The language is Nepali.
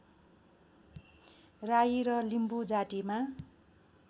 राई र लिम्बू जातिमा